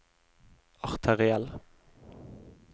arteriell